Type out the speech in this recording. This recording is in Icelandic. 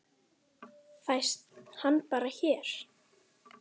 Linda: Fæst hann bara hér?